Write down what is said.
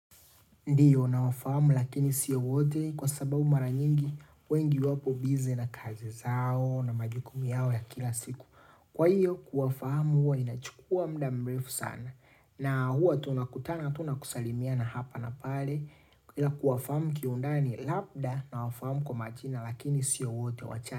Ndiyo na wafahamu lakini siyo wote kwa sababu mara nyingi wengi wapo bize na kazi zao na majukumu yao ya kila siku. Kwa hiyo kuwafahamu huwa inachukua mda mbrefu sana. Na huwa tunakutana tu nakusalimiana hapa na pale. Ila kuwafahamu kiundani labda na wafahamu kwa majina lakini siyo wote wachache.